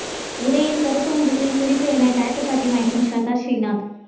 உடையில் கருப்பு முகத்தில் சிரிப்பு என டாட்டூ காட்டி மயக்கும் ஷ்ரத்தா ஸ்ரீநாத்